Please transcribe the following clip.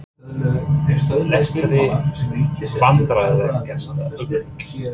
Lestri Vandræðalegasta augnablik?